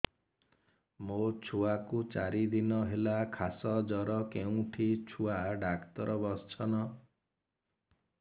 ମୋ ଛୁଆ କୁ ଚାରି ଦିନ ହେଲା ଖାସ ଜର କେଉଁଠି ଛୁଆ ଡାକ୍ତର ଵସ୍ଛନ୍